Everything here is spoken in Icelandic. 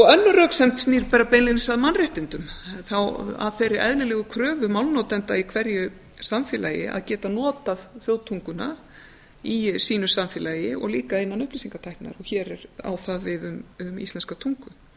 önnur röksemd snýr bara beinlínis að mannréttindum þá að þeirri eðlilegu kröfu málnotenda í hverju samfélagi að geta notað þjóðtunguna í sínu samfélagi og líka innan upplýsingatækninnar og hér á það við um íslenska tungu